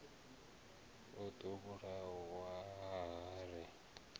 o ḓo vhulawa ha ri